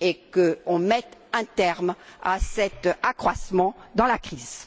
qu'il soit mis un terme à cet accroissement dans la crise